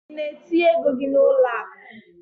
I na etinye égo gị n'uloaku?